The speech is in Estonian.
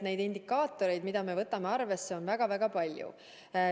Neid indikaatoreid, mida me arvesse võtame, on väga-väga palju.